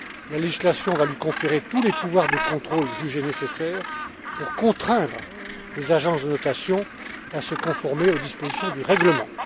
La législation va lui conférer tous les pouvoirs de contrôle jugés nécessaires pour contraindre les agences de notation à se conformer aux dispositions du règlement.